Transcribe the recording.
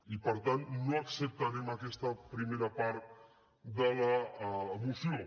i per tant no acceptarem aquesta primera part de la moció